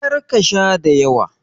Kar ka Sha dayawa.